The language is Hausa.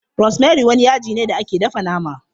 Rosemary wani yaji ne da ake dafa nama.